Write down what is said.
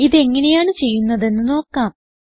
ഇത് എങ്ങനെയാണ് ചെയ്യുന്നത് എന്ന് നോക്കാം